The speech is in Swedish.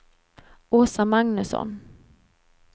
Åsa Magnusson